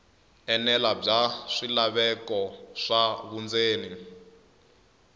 enela bya swilaveko swa vundzeni